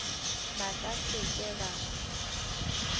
ba ka se ke ba